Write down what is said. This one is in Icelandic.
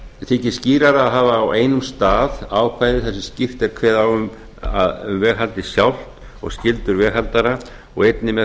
þykir skýrara að hafa á einum stað ákvæði þar sem skýrt er kveðið á um veghaldið sjálft og skyldur veghaldara og einnig með